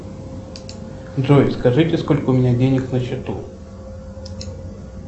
джой скажите сколько у меня денег на счету